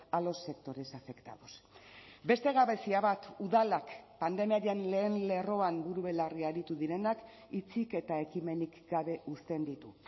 a los sectores afectados beste gabezia bat udalak pandemiaren lehen lerroan buru belarri aritu direnak hitzik eta ekimenik gabe uzten ditu